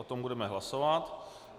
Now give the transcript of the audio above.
O tom budeme hlasovat.